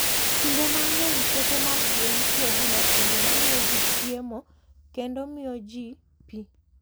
Kinde mang'eny, puothe mag gwen tiyo gi masinde ma miyo ji chiemo kendo miyo ji pi.